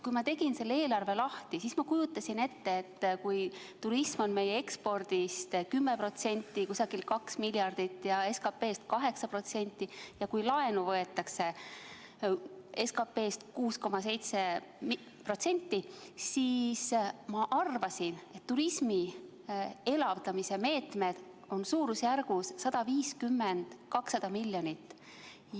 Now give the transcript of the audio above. Kui ma selle eelarve lahti tegin, siis kujutasin ette, et kui turism on meie ekspordist 10%, umbes 2 miljardit eurot, ja SKP-st 8% ning kui laenu võetakse SKP-st 6,7%, siis turismi elavdamise meetmed on suurusjärgus 150–200 miljonit.